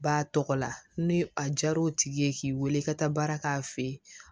Ba tɔgɔla ni a jar'o tigi ye k'i wele i ka taa baara k'a fɛ yen